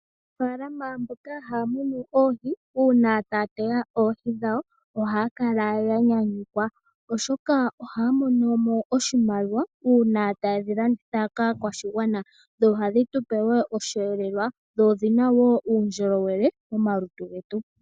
Aanafaalama mboka haya munu oohi uuna taya teya oohi dhawo ohaya kala yanyanyukwa oshoka ohaya monomo oshimaliwa uuna tayedhilanditha kaakwashigwana sho ohadhi tupe wo oshihelelwa dho odhina wo uundjolowele momalutu getu.